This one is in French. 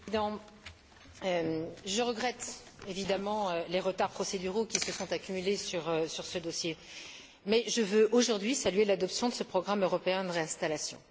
Monsieur le Président, je regrette évidemment les retards procéduraux qui se sont accumulés sur ce dossier mais je veux aujourd'hui saluer l'adoption de ce programme européen de réinstallation.